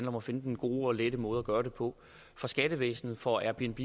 om at finde den gode og lette måde gøre det på for skattevæsenet for airbnb